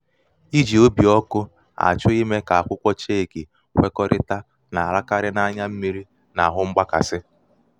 ijī bì ọkụ̄ àchọ imē kà akwụkwọ cheki kwekọrịta nà-àlakarị n’anya mmiri nà ahù mgbaka. ahù mgbaka.